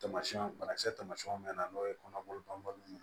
Tamasiyɛn bana kisɛ tamasiyɛnw bɛ na n'o ye kɔnɔboli banbali ye